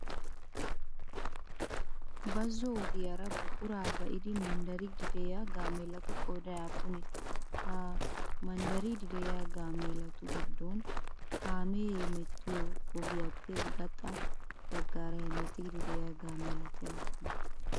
Bazzo ogiyaara buquraa ba'idi manddariiddi de'iyaa gaameelatu qooday aappunee? Ha manddariiddi de'iyaa gaameelatu giddon kaamee hemettiyo ogiyaappe gaxa baggaara hemettiiddi de'iyaa gaameelati aappunee?